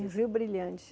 Em Rio Brilhante.